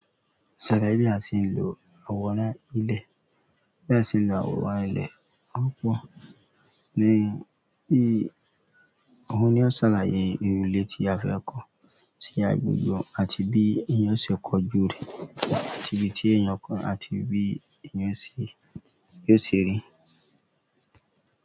Sàlàyé àtilò àwòrán ilẹ̀. Bí èèyàn sé ń lọ àwòrán ilẹ̀ òpó ni bí ohun tí ó ṣàlàyé irú ilẹ̀ tí a fẹ́ kó sí agbègbè àti bí èèyàn ṣe kọjú rẹ̀, àti ibi tí èèyàn kọ, àti bí èèyàn se bí o ṣe rí.